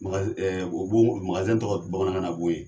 tɔgɔ ye bamanankan na b'o ye.